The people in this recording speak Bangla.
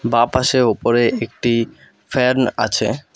বাঁপাশে ওপরে একটি ফ্যান আছে।